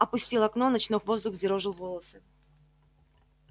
он опустил окно ночной воздух взъерошил волосы